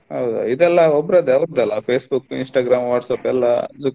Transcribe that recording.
ಹೌದಾ ಇದೆಲ್ಲಾ ಒಬ್ಬ್ರದಾ ಅವ್ರದ್ದೇ Facebook, Instagram, WhatsApp ಎಲ್ಲಾ .